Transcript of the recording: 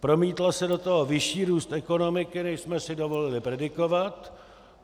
Promítl se do toho vyšší růst ekonomiky, než jsme si dovolili predikovat.